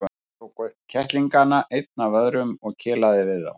Jói tók upp kettlingana einn af öðrum og kelaði við þá.